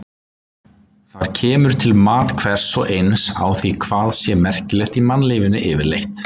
Þar kemur til mat hvers og eins á því hvað sé merkilegt í mannlífinu yfirleitt.